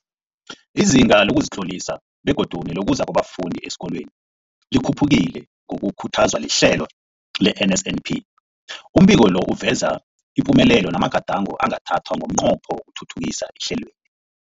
Izinga lokuzitlolisa begodu nelokuza kwabafundi esikolweni likhuphukile ngokukhuthazwa lihlelo le-NSNP. Umbiko lo uveza ipumelelo namagadango angathathwa ngomnqopho wokuthuthukisa ihlelweli.